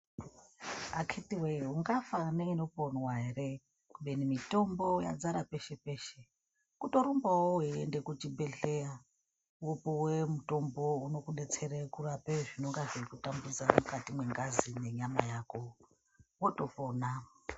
Akhiti wee, ungafa neinoponwa ere kubeni mitombo yadzara peshe-peshe kutorumbawo weiende kuchibhehleya wopuwe mutombo unokudetsere kurapa zvinenge zveikutambudza mukati mwengazi mwenyama yako wotopona.